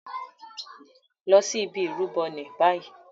Lọ sí ìbi Ìrúbo ní bayii!